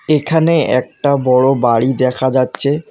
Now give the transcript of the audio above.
এখানে একটা বড় বাড়ি দেখা যাচ্ছে।